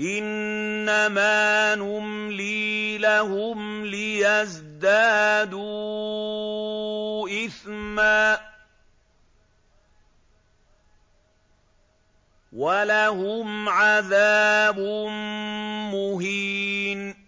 إِنَّمَا نُمْلِي لَهُمْ لِيَزْدَادُوا إِثْمًا ۚ وَلَهُمْ عَذَابٌ مُّهِينٌ